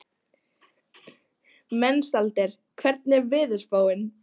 Mensalder, hvernig er veðurspáin?